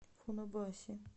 фунабаси